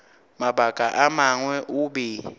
mabaka a mangwe o be